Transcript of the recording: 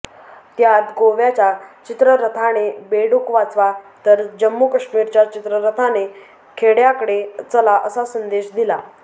त्यात गोव्याच्या चित्ररथाने बेडूक वाचवा तर जम्मू कश्मीरच्या चित्ररथाने खेड्याकडे चला असा संदेश दिला